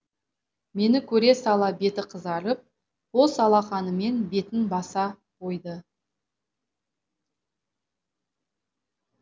мені көре сала беті қызарып қос алақанымен бетін баса қойды